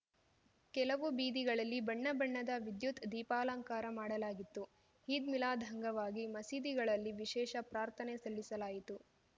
ಕೆಲವು ಬೀದಿಗಳಲ್ಲಿ ಬಣ್ಣ ಬಣ್ಣದ ವಿದ್ಯುತ್‌ ದೀಪಾಲಂಕಾರ ಮಾಡಲಾಗಿತ್ತು ಈದ್‌ ಮಿಲಾದ್‌ ಅಂಗವಾಗಿ ಮಸೀದಿಗಳಲ್ಲಿ ವಿಶೇಷ ಪ್ರಾರ್ಥನೆ ಸಲ್ಲಿಸಲಾಯಿತು